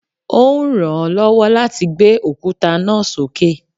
Ó ń ràn án lọ́wọ́ láti gbé òkúta náà sókè